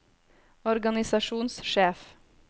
organisasjonssjef